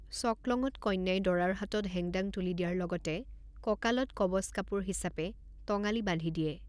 চকলঙত কন্যাই দৰাৰ হাতত হেংদান তুলি দিয়াৰ লগতে কঁকালত কৱচ কাপোৰ হিচাপে টঙালি বান্ধি দিয়ে।